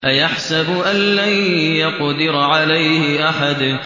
أَيَحْسَبُ أَن لَّن يَقْدِرَ عَلَيْهِ أَحَدٌ